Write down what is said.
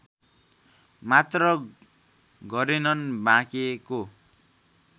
मात्र गरेनन् बाँकेको